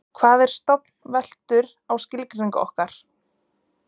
Hvað er stofn veltur á skilgreiningu okkar.